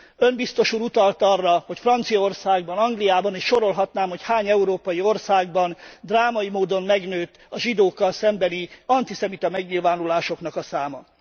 Ön, Biztos Úr utalt arra, hogy Franciaországban, Angliában és sorolhatnám, hogy hány európai országban drámai módon megnőtt a zsidókkal szembeni antiszemita megnyilvánulásoknak a száma.